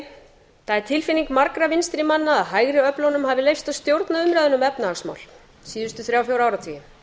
það er tilfinning margra vinstri manna að hægri öflunum hafi verið leyft að stjórna umræðunni um efnahagsmál síðustu þrjá til fjóra áratugi